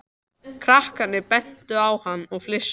Krakkarnir bentu á hann og flissuðu.